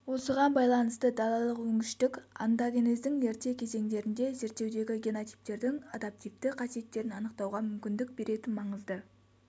осыған байланысты далалық өнгіштік онтогенездің ерте кезеңдерінде зерттеудегі генотиптердің адаптивті қасиеттерін анықтауға мүмкіндік беретін маңызды